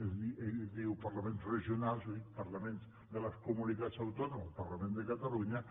ell diu parlaments regionals jo dic parlaments de les comunitats autònomes parlament de catalunya